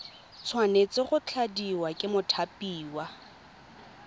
tshwanetse go tladiwa ke mothapiwa